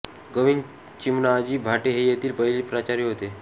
गोविंद चिमणाजी भाटे हे येथील पहिले प्राचार्य होते